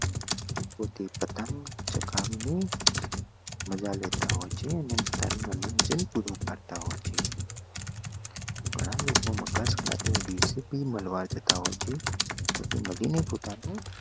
પોતે પતંગ ચકાવીને મજા લેતા હોય છે ગણા લોકો મકર સંક્રાંતિ ના દિવસે બી મળવા જતા હોય છે મળીને પોતાનું